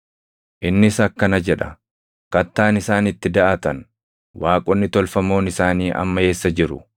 Innis akkana jedha: “Kattaan isaan itti daʼatan, waaqonni tolfamoon isaanii amma eessa jiru?